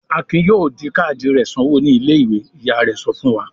"Akin yóò di káádì rẹ̀ sanwó ní ilé-ìwé!" Ìyá rẹ̀ sọ fún wa.